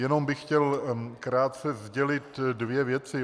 Jenom bych chtěl krátce sdělit dvě věci.